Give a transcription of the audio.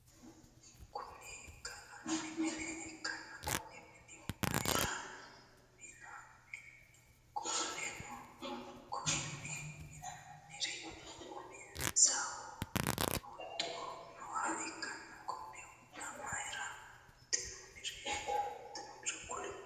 Kunni galanni mine ikanna Konne mine mayinni minoonni? Qoleno konni minnira umisihu huxu nooha ikanna konne huxa mayira huxinoonniro kuli?